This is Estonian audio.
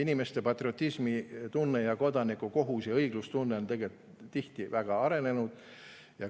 Inimestel on patriotismi, kodanikukohuse ja õigluse tunne tihti väga arenenud.